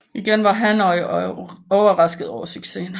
Igen var Hanoi overrasket over succesen